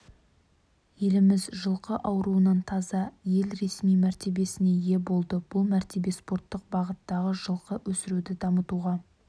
еліміз жылқы ауруынан таза ел ресми мәртебесіне ие болды бұл мәртебе спорттық бағыттағы жылқы өсіруді дамытуға